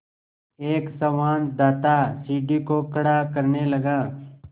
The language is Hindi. एक संवाददाता सीढ़ी को खड़ा करने लगा